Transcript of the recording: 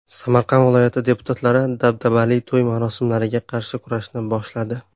Samarqand viloyati deputatlari dabdabali to‘y marosimlariga qarshi kurashni boshladi .